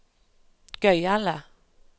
gøyale